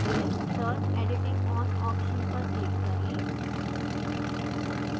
फिर turn editing on option पर click करें